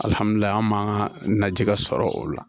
Alihamudulila an m'a najɛ sɔrɔ o la